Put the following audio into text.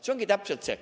See ongi täpselt see.